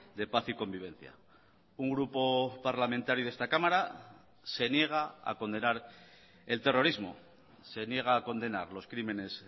de paz y convivencia un grupo parlamentario de esta cámara se niega a condenar el terrorismo se niega a condenar los crímenes